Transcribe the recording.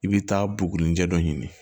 I bi taa buguni cɛ dɔ ɲini